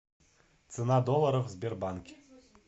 цена доллара в сбербанке